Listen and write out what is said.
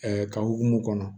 ka hokumu kɔnɔ